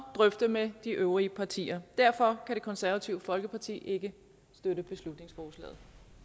drøfte med de øvrige partier derfor kan det konservative folkeparti ikke støtte beslutningsforslaget